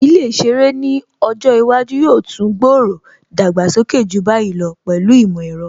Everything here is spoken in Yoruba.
Ilé ìṣeré ni ọjọ́ iwájú yóò tún gbòòrò/ dàgbàsókè ju báyìí lọ pẹ̀lú ìmọ̀ ẹ̀rọ